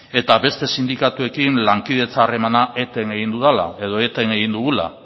eta beste sindikatuekin lankidetza harreman eten egin dudala edo eten egin dugula